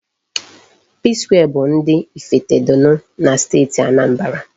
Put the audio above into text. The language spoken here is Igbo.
Psquare bụ ndị Ifitedunu na Steeti Anambra.